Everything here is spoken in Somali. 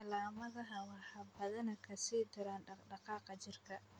Calaamadaha waxaa badanaa ka sii dara dhaqdhaqaaqa jirka.